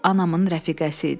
Bu anamın rəfiqəsi idi.